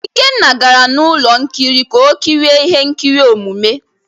Ikenna gara na ụlọ nkiri ka o kirie ihe nkiri omume.